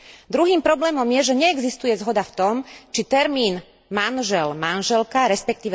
Druhým problémom je, že neexistuje zhoda v tom, či termín manžel manželka resp.